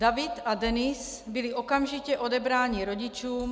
David a Denis byli okamžitě odebráni rodičům...